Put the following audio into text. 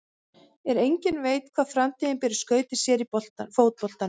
En enginn veit hvað framtíðin ber í skauti sér í fótboltanum.